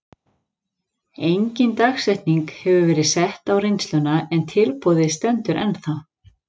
Engin dagsetning hefur verið sett á reynsluna en tilboðið stendur ennþá.